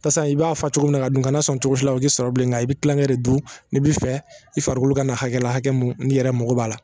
tasa in i b'a fɔ cogo min na k'a dun kana sɔn cogo si la o k'i sɔrɔ bilen nka i bɛ tilankɛ de dun ne bɛ fɛ i farikolo ka na hakɛ la hakɛ mun n'i yɛrɛ mago b'a la